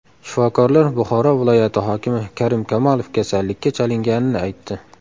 Shifokorlar Buxoro viloyati hokimi Karim Kamolov kasallikka chalinganini aytdi.